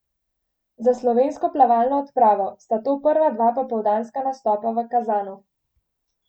Za slovensko plavalno odpravo sta to prva dva popoldanska nastopa v Kazanu.